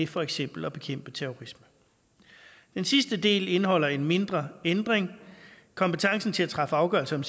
for eksempel at bekæmpe terrorisme den sidste del indeholder en mindre ændring kompetencen til at træffe afgørelser